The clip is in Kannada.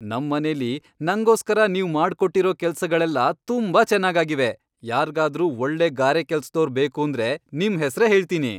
ನಮ್ ಮನೇಲಿ ನಂಗೋಸ್ಕರ ನೀವ್ ಮಾಡ್ಕೊಟ್ಟಿರೋ ಕೆಲ್ಸಗಳೆಲ್ಲ ತುಂಬಾ ಚೆನ್ನಾಗಾಗಿವೆ, ಯಾರ್ಗಾದ್ರೂ ಒಳ್ಳೆ ಗಾರೆಕೆಲ್ಸದೋರ್ ಬೇಕೂಂದ್ರೆ ನಿಮ್ಹೆಸ್ರೇ ಹೇಳ್ತೀನಿ.